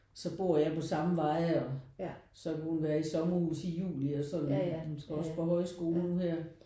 Så bor jeg på samme vej og så kunne hun være i sommerhus i juli og sådan. Hun skal også på højskole nu her